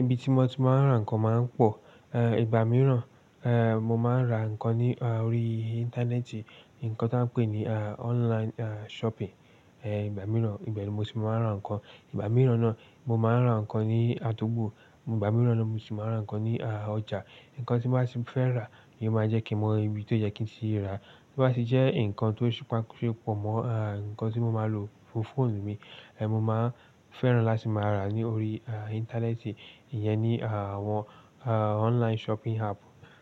Ibi tí mo ti máa ń ra ǹkan máa ń pọ̀. Ìgbà mìíràn mo máa ń ra nǹkan ní orí internet, ǹkan tí a ń pè ní online shopping. Ìgbà mìíràn, ibẹ̀ ni mo ti máa ń ra nǹkan. Ìgbà mìíràn náà mo máa ń ra nǹkan ní àdúgbò. Ìgbà mìíràn náà mi ò sì máa ń ra ǹkan ní ọjà. Nǹkan tí n bá ti fẹ́ rà ni ó máa ń jẹ́ kí mọ ibi tó yẹ kí n ti ràá. Tó bá sì jẹ́ nǹkan tó ṣe papọ̀ mọ́ nǹkan tí mo máa lò fún fóònù mi, mo máa ń fẹ́ràn láti máa rà á ní orí internet. Ìyẹn ni àwọn online shopping app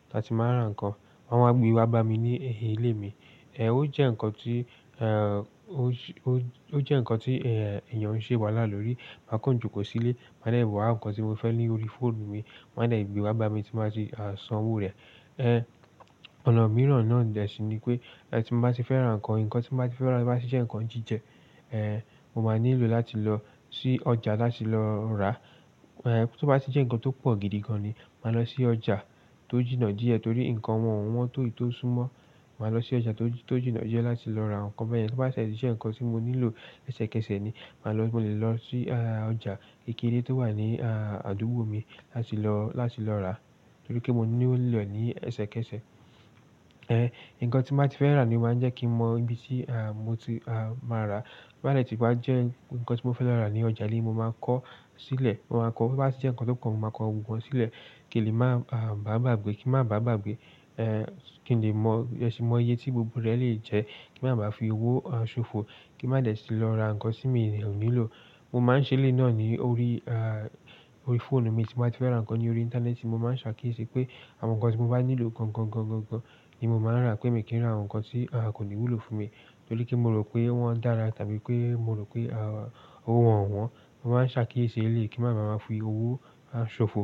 tí a ti máa ń ra nǹkan. Wọ́n máa gbé wá bá mi ní ilé mi. Ó jẹ́ ǹkan tí èèyàn ò ń ṣe wàhálà lórí. Máa kàn jòkó sílé, máa dẹ̀ wa ǹkan tí mo fẹ́ ní orí fóònù mi, wọn á dẹ̀ gbé wá bá mi tí màá ti san owó rẹ̀. Ọ̀nà mìíràn náà dẹ̀ síi ni pé tí mo bá ti fẹ́ ra ǹkan, ǹkan tí mo bá ti fẹ́ rà bá sì jẹ́ ǹkan jíjẹ, mo máa nílò láti lọ sí ọjà láti lọ rà. Tó bá sì jẹ́ ǹkan tó pọ̀ gidi gan ni, màá lọ sí ọjà tó jìnnà díẹ̀ torí ǹkan wọ́n tó èyí tó sún mọ́. Màá lọ sí ọjà tó jìnnà jíjẹ láti lọ ra ǹkan bẹ́ẹ̀. Tó bá sì jẹ́ ǹkan tí mo nílò ẹsẹkẹsẹ ni, mo lè lọ sí ọjà kékeré tó wà ní àdúgbò mi láti lọ rà torí pé mo ní lò rẹ̀ ní ẹsẹ̀kẹsẹ̀. Ǹkan tí n bá ti fẹ́ rà ni ó máa ń jẹ́ kí n mọ ibi tí mo ti máa rà á. Tí ó bá jẹ́ ǹkan tí mo fẹ́ lọ rà ní ọjà ni mo máa kọ sílẹ̀. To ba sì jẹ́ ǹkan tó kan, mo máa kọ gbogbo nnkan sílẹ̀ kí lè máa ba à gbàgbé, kí n lè mọ iye tí gbogbo rẹ̀ lè jẹ́, kí n máa ba à fi owó ṣòfò, kí n máa dẹ̀ sí lọ ra ǹkan tí èmi ò nílò. Mo máa ń ṣe eleyi náà ní orí fóònù mi. Tí n ba ti fẹ́ ra ǹkan ní orí Íńtánẹ́ẹ̀tì, mo máa ń ṣàkíyèsí pé àwọn ǹkan tí mo bá nílò gangangangan ni mo máa ń rà pé mi kì í ra àwọn ǹkan tí kò ní wúlò fún mi torí pé mo rò pé wọ́n dára tàbí pé mo rò pé owó wọ́n o won. Mo máa ń ṣàkíyèsí eleyi kí n máa ba ma fi owó ṣòfò.